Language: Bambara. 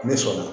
Ne sɔnna